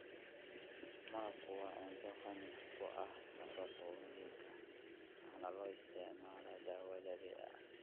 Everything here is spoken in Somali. Malabku waa cunto qani ku ah nafaqooyinka waxaana loo isticmaalaa dawo dabiici ah.